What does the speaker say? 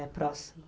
Era próximo.